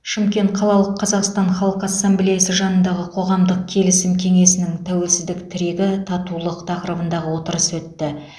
шымкент қалалық қазақстан халқы ассамблеясы жанындағы қоғамдық келісім кеңесінің тәуелсіздік тірегі татулық тақырыбындағы отырысы өтті